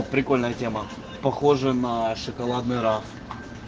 прикольная тема похожая на шоколадный раф